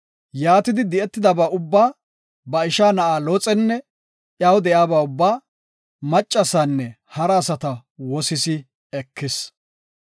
Yaatidi de7etidaba ubba, ba isha na7a Looxenne iyaw de7iyaba ubba, maccasaanne hara asata woossis ekis.